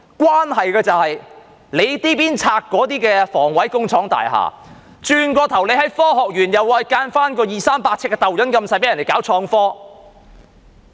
關係到這邊廂清拆房委會工廠大廈，那邊廂在科學園興建二三百呎的小型單位讓人搞創科。